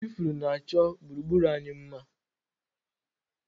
Ifuru na-achọ gburugburu anyị mma